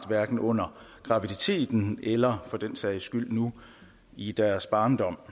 hverken under graviditeten eller for den sags skyld nu i deres barndom